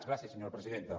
gràcies senyora presidenta